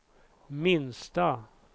minsta